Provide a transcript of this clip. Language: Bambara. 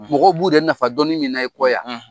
Mɔgɔ b'u de nafa dɔnni min na ye kɔya